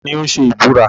Ta ni ó ń ṣe ìbúra?